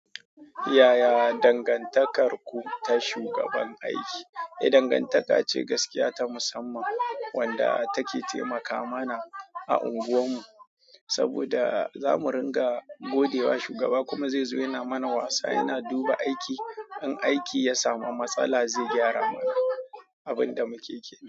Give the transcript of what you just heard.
Yaya dangantakarku ta shugaban aiki? Eh, dangantaka ce gaskiya ta musamman wadda take taimaka mana a unguwarmu saboda zamu ringa godewa shugaba kuma zai zo yana mana wasa, yana duba aiki. In aiki ya samu matsala zai gyara mana, abunda muke kenan.